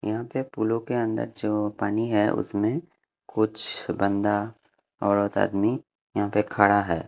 यहाँ पे पुलों के अंदर जो पानी है उसमें कुछ बंदा औरत आदमी यहाँ पे खड़ा है।